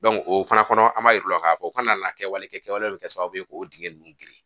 o fana kɔnɔ an b'a yiru la ka fɔ u ka na kɛwale kɛ kɛwale mun bɛ kɛ sababu ye k'o dingɛ nunnu geren.